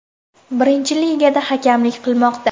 Birinchi ligada hakamlik qilmoqda.